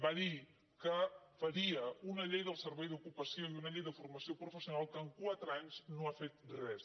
va dir que faria una llei del servei d’ocupació i una llei de formació professional que en quatre anys no ha fet res